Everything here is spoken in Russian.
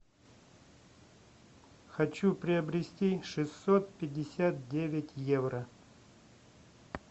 хочу приобрести шестьсот пятьдесят девять евро